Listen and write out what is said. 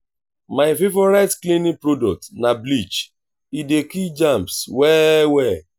my favorite cleaning product na bleach e dey kill germs well well.